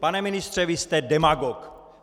Pane ministře, vy jste demagog!